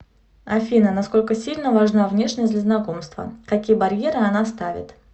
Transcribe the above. афина насколько сильно важна внешность для знакомства какие барьеры она ставит